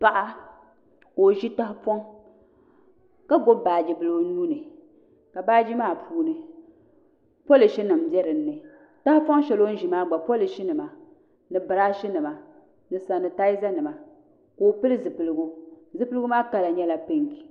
Paɣa ka o ʒi tahapoŋ ka gbubi baaji bili o nuuni ka baaji maa puuni polish nim bɛ dinni tahapoŋ shɛli o ni ʒi maa gba polish nima ni biraash nima ni sanitaiza nima ka o pili zipiligu zipiligu maa kala nyɛla pink